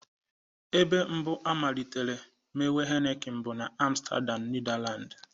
Ebe mbụ amaịlitere mewe Heniken bụ na Amstadam Netherland